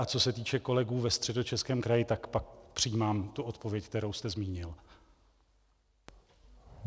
A co se týče kolegů ve Středočeském kraji, tak pak přijímám tu odpověď, kterou jste zmínil.